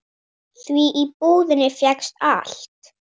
Því í búðinni fékkst allt.